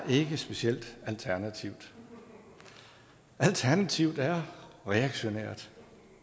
specielt alternativt alternativet er reaktionært